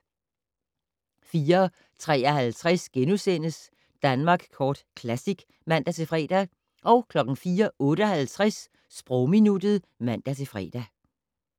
04:53: Danmark Kort Classic *(man-fre) 04:58: Sprogminuttet (man-fre)